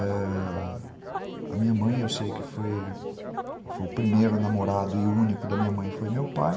Ãh... A minha mãe, eu sei que foi o primeiro namorado e único da minha mãe, foi meu pai.